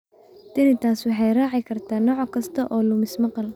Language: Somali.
Tinnitus waxay raaci kartaa nooc kasta oo lumis maqal.